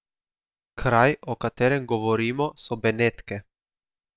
Kraj, o katerem govorimo, so Benetke.